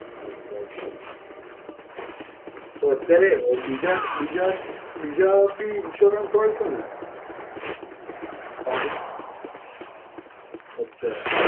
અચ્છા અચ્છા. તો અત્યારે અ બીજા બીજા બીજા બી insurance હોય છે ને? અચ્છા.